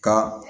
Ka